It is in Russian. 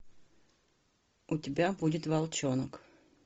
у тебя будет волчонок